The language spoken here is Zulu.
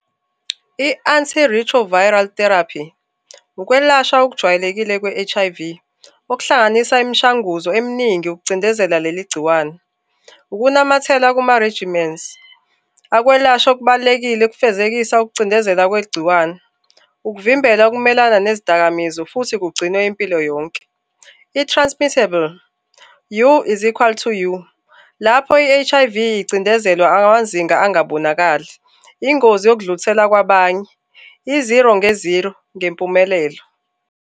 I-Antiretroviral Therapy, ukwelashwa okujwayelekile kwe-H_I_V okuhlanganisa imishanguzo eminingi yokucindezela leli gciwane, ukunamathela kuma-regiments akwelashwa okubalulekile ekufezekisa ukucindezela kwegciwane. Ukuvimbela ukumelana nezidakamizwa, futhi kugcinwe impilo yonke. I-transmittable, you is equal to you. Lapho i-H_I_V icindezelwa amazinga angabonakali, ingozi yokudlulisela kwabanye, i-zero nge-zero ngempumelelo.